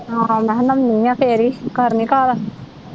ਆਹੋ ਮੈ ਕਿਹਾ ਨਹਾਉਣੀ ਆ ਫਿਰ ਈ ਕਰਨੀ ਘਰ